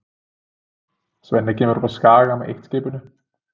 Svenni kemur upp á Skaga með eitt-skipinu.